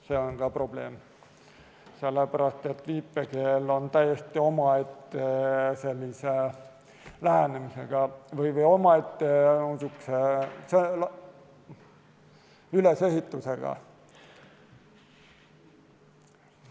See on ka probleem, sest viipekeel on täiesti omaette lähenemise või ülesehitusega.